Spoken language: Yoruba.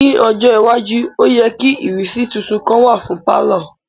Ni ojo iwaju o yẹ ki ìrísí titun kan wa fun palọ.